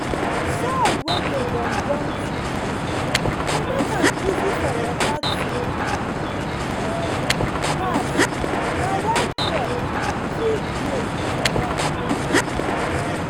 soil wey dey gum gum too much dey make am easy for water to um pass na why crop fit grow for am.